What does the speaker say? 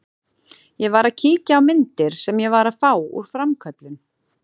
Ég var að kíkja á myndir sem ég var að fá úr framköllun.